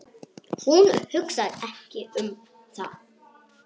Ekki langt.